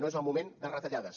no és el moment de retallades